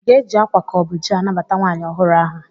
Aga-eji akwa ka ọ bụ ji anabata nwaanyị ọhụrụ ahụ?